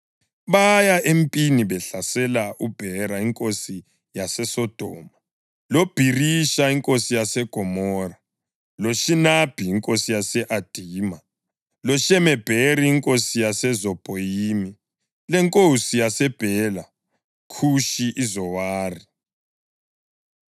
baya empini behlasela uBhera inkosi yaseSodoma, loBhirisha inkosi yaseGomora, loShinabhi inkosi yase-Adima, loShemebheri inkosi yaseZebhoyimi lenkosi yaseBhela (kutsho iZowari).